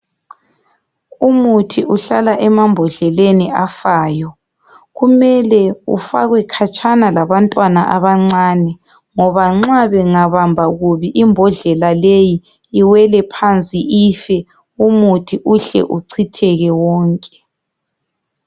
Umuthi uhlala emambodleleni afayo, kumele ufakwe khatshana labantwana abancane ngoba nxa bengabamba kubi imbodlela leyi iwele phansi ife umuthi uhle uchitheke wonke.